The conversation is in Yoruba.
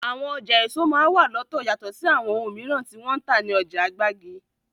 Àwọn ọjà èso máa n wà lọ́tọ̀ yatọ̀ sí àwọn oun mìíràn tí wọ́n ń tà ní ọjà gbági.